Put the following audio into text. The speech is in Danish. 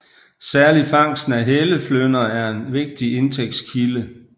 Særlig fangsten af helleflynder er en vigtig indtægtskilde